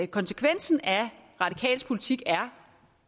konsekvensen af radikales politik er